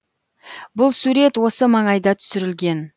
бұл сурет осы маңайда түсірілген